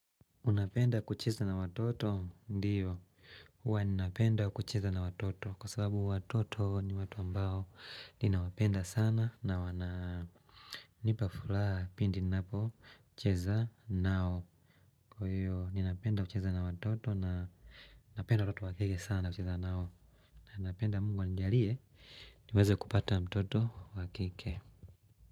Unapenda kucheza na watoto? Ndio, huwa ninapenda kucheza na watoto kwa sababu watoto ni watu ambao ninawapenda sana na wananipa furaha pindi ninapocheza nao. Kwa hiyo ninapenda kucheza na watoto na napenda watoto wakike sana kucheza nao na napenda mungu anjalie niweze kupata mtoto wakike.